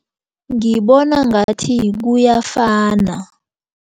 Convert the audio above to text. Ngibona ngathi kuyafana.